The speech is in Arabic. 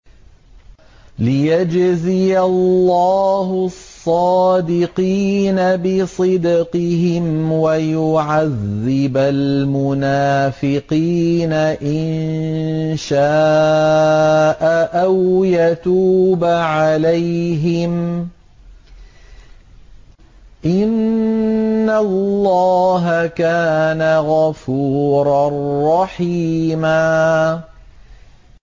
لِّيَجْزِيَ اللَّهُ الصَّادِقِينَ بِصِدْقِهِمْ وَيُعَذِّبَ الْمُنَافِقِينَ إِن شَاءَ أَوْ يَتُوبَ عَلَيْهِمْ ۚ إِنَّ اللَّهَ كَانَ غَفُورًا رَّحِيمًا